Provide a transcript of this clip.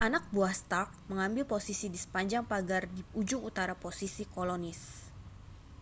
anak buah stark mengambil posisi di sepanjang pagar di ujung utara posisi kolonis